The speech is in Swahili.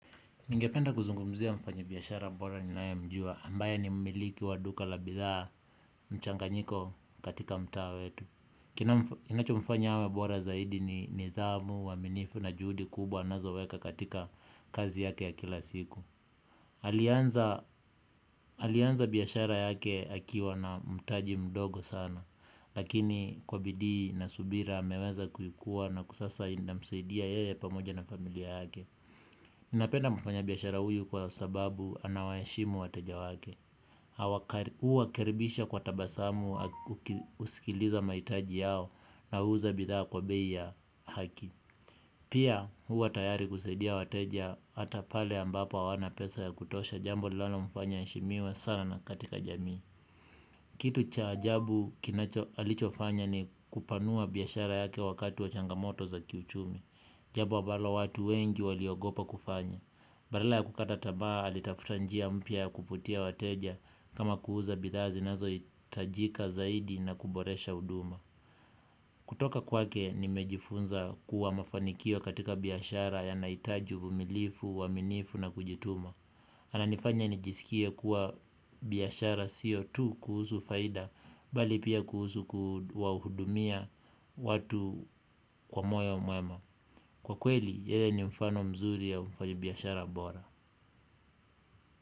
Ningependa kuzungumzia mfanyabiashara bora ninayemjua ambaye ni mmiliki wa duka la bidhaa mchanganyiko katika mtaa wetu. Kinachomfanya awe bora zaidi ni nidhamu uaminifu na juhudi kubwa anazoweka katika kazi yake ya kila siku alianza. Alianza biashara yake akiwa na mtaji mdogo sana lakini kwa bidii na subira ameweza kuikua na sasa inamsaidia yeye pamoja na familia yake. Napenda mfanyabiashara huyu kwa sababu anawaheshimu wateja wake huwa karibisha kwa tabasamu ukisikiliza mahitaji yao na huuza bidhaa kwa bei ya haki. Pia huwa tayari kusaidia wateja hata pale ambapo hawana pesa ya kutosha jambo linalomfanya aheshimiwe sana na katika jamii. Kitu cha ajabu kinacho alichofanya ni kupanua biashara yake wakati wa changamoto za kiuchumi. Jambo ambalo watu wengi waliogopa kufanya badala ya kukata tamaa alitafuta njia mpya ya kuvutia wateja kama kuuza bidhaa zinazohitajika zaidi na kuboresha huduma. Kutoka kwake nimejifunza kuwa mafanikio katika biashara yanahitaji uvumilivu, uaminifu na kujituma. Ananifanya nijisikie kuwa biashara sio tu kuhusu faida bali pia kuhusu kuwahudumia watu kwa moyo mwema. Kwa kweli yeye ni mfano mzuri ya ufanyibiashara bora.